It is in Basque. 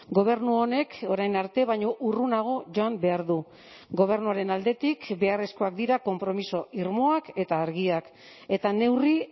gobernu honek orain arte baino urrunago joan behar du gobernuaren aldetik beharrezkoak dira konpromiso irmoak eta argiak eta neurri